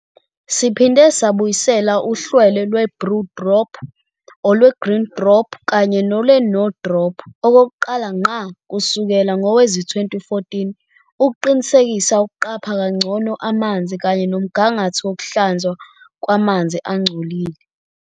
Siphinde sabuyisela uhlelo lweBlue Drop, olweGreen Drop kanye nolweNo Drop okokuqala ngqa kusukela ngowezi-2014 ukuqinisekisa ukuqapha kangcono amanzi kanye nomgangatho wokuhlanzwa kwamanzi angcolile.